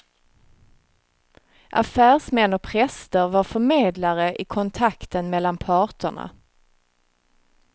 Affärsmän och präster var förmedlare i kontakten mellan parterna.